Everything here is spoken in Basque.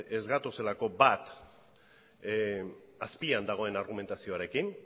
ez gatozelako bat azpian dagoen argumentazioarekin